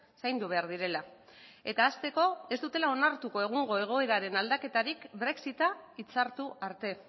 zaindu behar direla eta hasteko ez dutela onartu egungo egoeraren aldaketarik brexita hitzartu arte